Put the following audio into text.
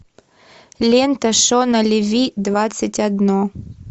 лента шона леви двадцать одно